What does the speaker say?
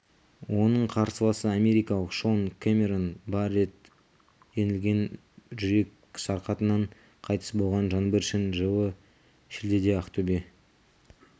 оның қарсыласы америкалық шон кэмерон бар рет жеңілген жүрек сырқатынан қайтыс болған жаңбыршин жылы шілдеде ақтөбе